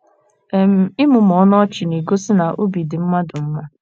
um Ịmụmụ ọnụ ọchị na - egosi na obi dị mmadụ mma.